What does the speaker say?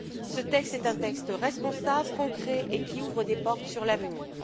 Ce texte est un texte responsable, concret et qui ouvre des portes sur l'avenir.